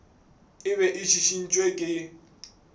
e be e šišintšwe ke